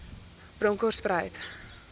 bronkhortspruit